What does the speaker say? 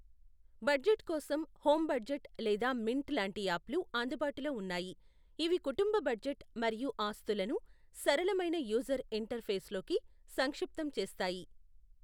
Budget కోసం, home budget లేదా Mint లాంటి యాప్లు అందుబాటులో ఉన్నాయి, ఇవి కుటుంబ బడ్జెట్ మరియు ఆస్తులను సరళమైన యూజర్ ఇంటర్ ఫేస్లోకి సంక్షిప్తం చేస్తాయి.